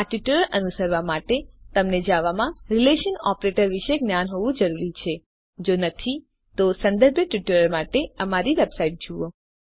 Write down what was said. આ ટ્યુટોરીયલ અનુસરવા માટે તમને જાવામાં રીલેશનલ ઓપરેટરો વિષે જ્ઞાન હોવું જરૂરી છે જો નહિં તો સંબંધિત ટ્યુટોરિયલ્સ માટે અમારી વેબસાઇટ httpspoken tutorialorg જુઓ